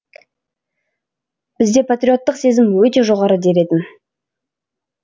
бізде патриоттық сезім өте жоғары дер едім